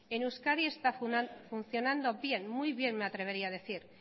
en euskadi está funcionando bien muy bien me atrevería a decir